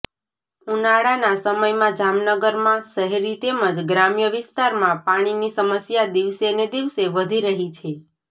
ઉનાળાના સમયમાં જામનગરમાં શહેરી તેમજ ગ્રામ્ય વિસ્તારમાં પાણીની સમસ્યા દિવસે ને દિવસે વધી રહી છે